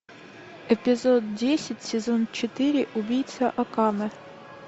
эпизод десять сезон четыре убийца акаме